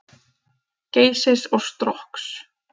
Geysis og Strokks.